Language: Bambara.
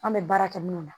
An bɛ baara kɛ minu na